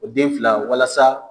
O den fila walasa